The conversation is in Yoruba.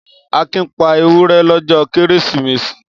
Akin pa ewúrẹ́ lọ́jọ́ Kérésìmesì?